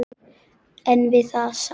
En við það sat.